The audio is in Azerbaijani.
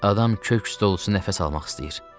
Adam kök üstü olsa nəfəs almaq istəyir.